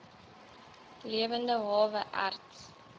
lewende hawe erts